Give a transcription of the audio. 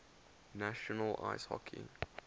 national ice hockey